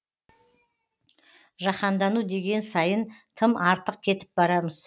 жаһандану деген сайын тым артық кетіп барамыз